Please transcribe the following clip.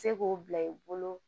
Se k'o bila i bolo